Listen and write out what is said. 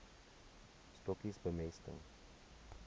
stokkies bemesting